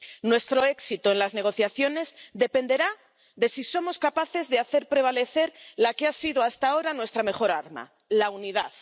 Nuestro éxito en las negociaciones dependerá de si somos capaces de hacer prevalecer la que ha sido hasta ahora nuestra mejor arma la unidad.